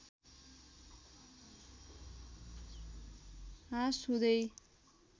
ह्रास हुँदै